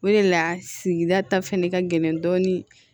O de la sigida ta fɛnɛ ka gɛlɛn dɔɔni